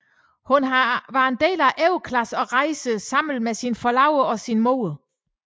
Hun er en del af overklassen og rejser sammen med sin forlovede og sin mor